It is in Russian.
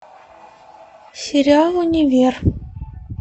сериал универ